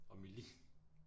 Og Melin